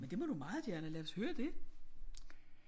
Men det må du meget gerne lad os høre det